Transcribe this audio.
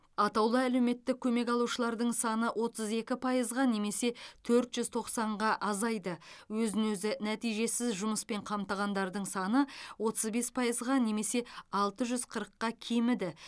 атаулы әлеуметтік көмек алушылардың саны отыз екі пайызға немесе төрт жүз тоқсанға азайды өзін өзі нәтижесіз жұмыспен қамтығандардың саны отыз бес пайызға немесе алты жүз қырыққа кеміді